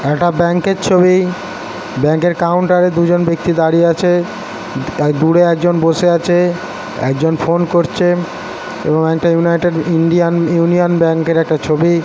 একটা ব্যাঙ্ক -এর ছবি ব্যাঙ্ক -এর কাউন্টারে দুজন ব্যক্তি দাঁড়িয়ে আছে দূরে একজন বসে আছে একজন ফোন করছে এবং একটা ইউনাইটেড ইন্ডিয়ান ইউনিয়ন ব্যাঙ্ক -এর একটা ছবি--